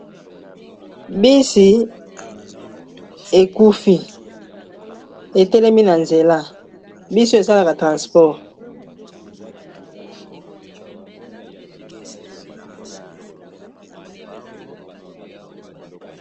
bisi ekufi etelemi na nzela bisi esalaka transport